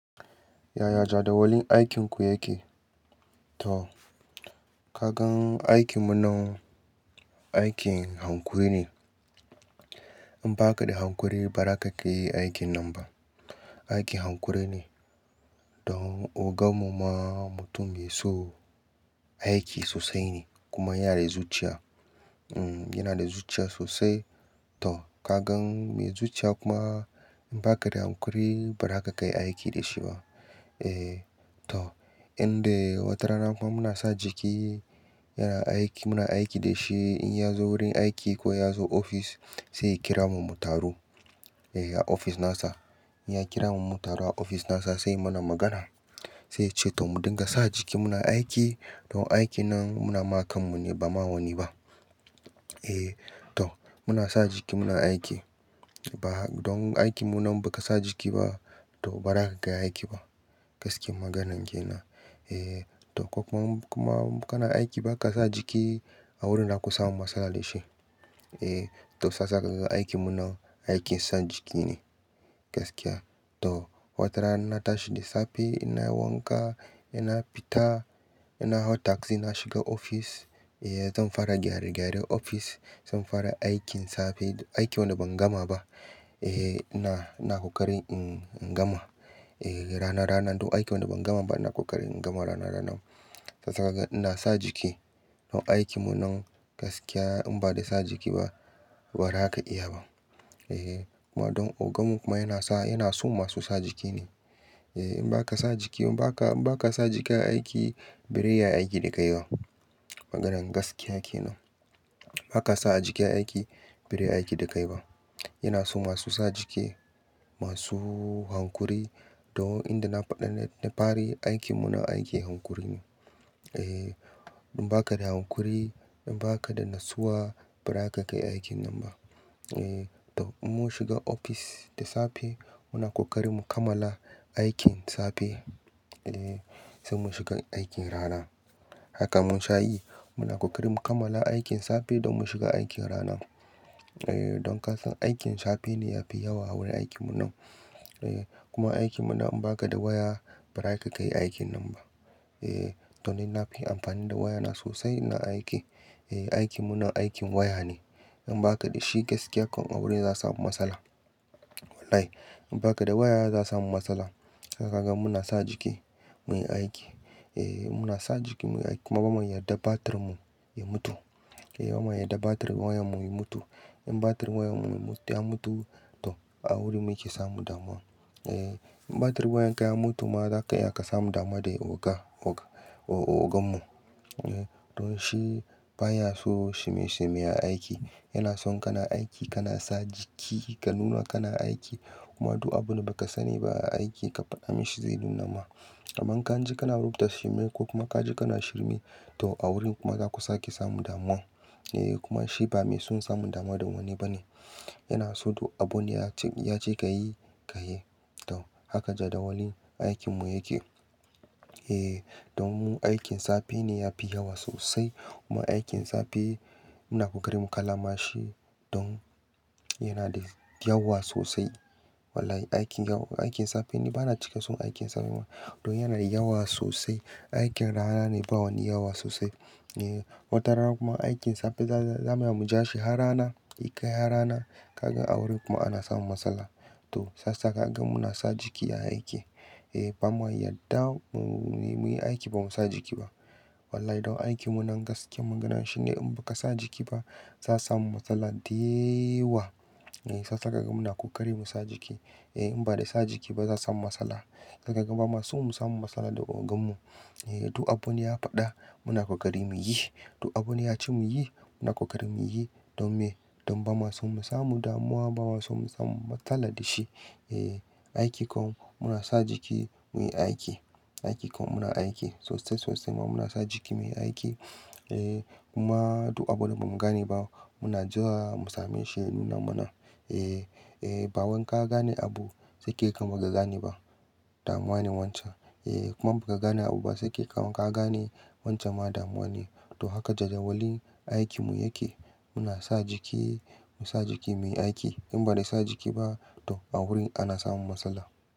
Yaya jadawalin aikinku yake? To, ka gan aikinmu nan, aikin hankuri ne. In ba ka da hankuri ba, ba za ka iya aikin nan ba. Aikin hankuri ne. Don ogan mu ma mutum mai so aiki sosai ne, kuma yana da zuciya. Mm, yana da zuciya sosai. To ka gan mai zuciya kuma in ba ka da hankuri ba, ba ra ka kai aiki da shi ba. Eh to, inde watarana kuma muna sa jiki yana aiki, muna aiki da shi. In ya zo wurin aiki ko ya zo ofis, saiya kira mu mu taru, eh a ofis nasa. In ya kira mu mu taro a ofis nasa sai ya muna magana. Sai ya ce to mu dinga sa jiki muna aiki don aiki nan muna ma kanmu ne ba ma wani ba Eh, to muna sa jiki muna aiki. Ba don aiki mu nan ba ka sa jiki ba, to ba ra ka kai aiki ba. Gaskiyan maganan ke nan. Eh to kuma, kuma kana aiki ba ka sa jiki a wurin za ku samu matsala da shi. Eh, to sasa ka ga aiki mu nan aikin sa jiki ne. Gaskiya, to watarana na tashi da safe ina wanka, ina fita ina hau taksi na shiga ofis. Eh zan fara gyare-gyaren ofis, zan fara aikin safe. Aiki wanda ban gama ba Eh ina, ina ƙoƙari in gama. Eh rana rana. Don aiki wanda ban gama ba ina ƙoƙari in gama rana rana. Saisa kaga ina sa jiki. Don aikinmu nan gaskiya in ba da sa jiki ba, ba ra ka iya ba. Eh, kuma don oganmu kuma yana sa, yana so masu sa jiki ne. Eh in ba ka sa jiki in ba ka, in ba ka sa jiki a aiki, bare iya aiki da kai ba. Maganan gaskiya ke nan. Ba ka sa a jiki aiki, bareyi aiki da kai ba. Yana so masu sa jiki, masu hankuri. Don inda na faɗa ne da fari, aikinmu nan aikin hankuri ne. Eh, in ba ka da hankuri, in ba ka da natsuwa, ba ra ka kai aikin nan ba. Eh, to in mun shiga ofis da safe, muna ƙoƙari mu kammala aikin safe. Eh sai mun shiga aikin rana. Haka mun sha yi. Muna ƙoƙari mu kammala aikin safe don mu shiga aikin rana. Eh, don ka san aikin safe ne yafi yawa a wurin aikinmu nan. Eh, kuma aikinmu nan in ba ka da waya, ba ra ka kai aikin nan ba. Eh, to ni na fi amfani da wayana sosai ina aiki. Eh aikinmu nan aikin waya ne. In ba ka da shi gaskiya kam a wurin za'a samu matsala. Wallahi in ba ka da waya za su samu matsala. To kagan muna sa jiki muyi aiki. Eh, muna sa jiki muyi aiki kuma bama yadda batirinmu ya mutu. Eh bama yadda batirin wayan mu ya mutu. In batirin wayan mu ya mutu, to a wurin muke samun damuwa. Eh, in batirin wayan ka ya mutu ma zaka iya ka samu damuwa da oga, oga, oganmu. Eh don shi baya so shirme-shirme a aiki. Yana son kana aiki kana sa jiki, ka nuna kana aiki, kuma duk abun da ba ka sani ba a aiki ka faɗa mashi zai nuna ma. Amma ka ji kana rubuta shirme ko kuma ka je kana shirme to a wurin kuma za ku sake samu damuwa. Eh kuma shi ba mai son samun damuwa da wani ba ne. Yana so duk abun ya ce, in ya ce ka yi ka yi. To haka jadawalin aikinmu yake. Eh, don aikin safe ne yafi yawa sosai kuma aikin safe muna ƙoƙari mu kammala shi don yana da yawa sosai. Wallahi, aikin yawa, aikin safe ne. Ba na cika son aikin safe, kuma don yana da yawa sosai. Aikin rana ne ba wani yawa sosai. Eh watarana kuma aikin safe za, za mu iya mu ja shi har rana, ya kai har rana. Ka gan a wurin kuma ana samun matsala. To sassaƙa ka gan muna sa jiki a aiki. Eh, bamu yadda mu, muyi aiki ba mu sa jiki ba. Wallahi don aikinmu nan gaskiya maganan shine in ba ka sa jiki ba, za'a samu matsala deyawa. Eh saissa ka gan muna ƙoƙari mu sa jiki. Eh in ba da sa jiki ba za'a samu matsala. Sa kaga ba ma so mu samu matsala da oganmu. Eh duk abun ya faɗa muna ƙoƙari muyi. Duk abun ya ce muyi muna ƙoƙari muyi. Don me? Don ba ma so mu samu damuwa ba ma so mu samu matsala da shi. Eh, aiki kuma muna sa jiki muyi aiki. Aiki kuma muna aiki sosai sosai, kuma muna sa jiki muyi aiki. Eh kuma duk abun da ba mu gane ba, muna jewa mu same shi ya nuna mana. Eh, eh bawan ka gane abu sakai kaman ba ka gane ba, damuwa ne wancan. Eh kuma in ba ka gane abu ba sekai kaman ka gane, wancan ma damuwa ne. To haka jadawalin aikinmu yake. Muna sa jiki, mu sa jiki muyi aiki. In ba da sa jiki ba to a wurin ana samun matsala.